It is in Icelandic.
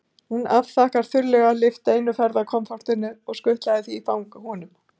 Hún afþakkaði þurrlega, lyfti einu ferðakoffortinu og skutlaði því í fangið á honum.